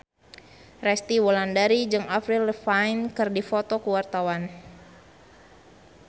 Resty Wulandari jeung Avril Lavigne keur dipoto ku wartawan